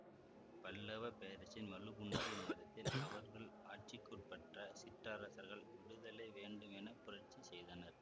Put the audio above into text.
பல்லவ பேரரசின் வலு குன்றிய நேரத்தில் அவர்கள் ஆட்சிக்குட்பட்ட சிற்றரசர்கள் விடுதலை வேண்டும் என புரட்சி செய்தனர்